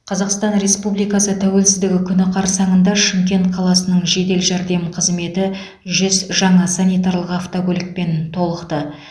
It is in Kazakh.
қазақстан республикасы тәуелсіздігі күні қарсаңында шымкент қаласының жедел жәрдем қызметі жүз жаңа санитарлық автокөлікпен толықты